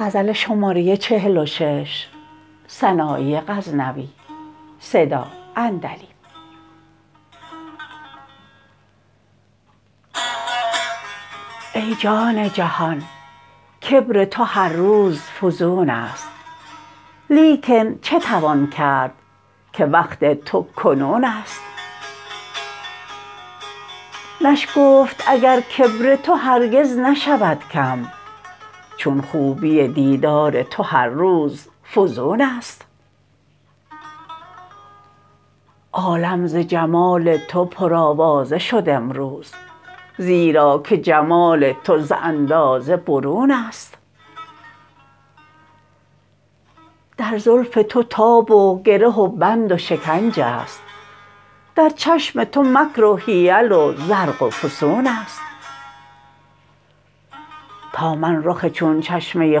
ای جان جهان کبر تو هر روز فزون ست لیکن چه توان کرد که وقت تو کنون ست نشگفت اگر کبر تو هرگز نشود کم چون خوبی دیدار تو هر روز فزون ست عالم ز جمال تو پرآوازه شد امروز زیرا که جمال تو ز اندازه برون ست در زلف تو تاب و گره و بند و شکنج ست در چشم تو مکر و حیل و زرق و فسون ست تا من رخ چون چشمه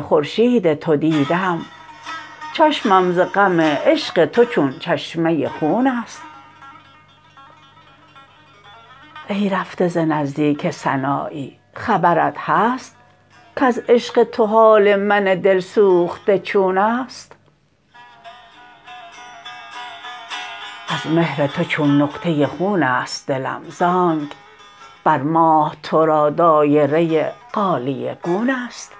خورشید تو دیدم چشمم ز غم عشق تو چون چشمه خون ست ای رفته ز نزدیک سنایی خبرت هست کز عشق تو حال من دل سوخته چون ست از مهر تو چون نقطه خون ست دلم زآنک بر ماه تو را دایره غالیه گون ست